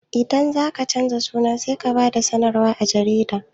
Idan zaka canza suna sai ka ba da sanarwa a jarida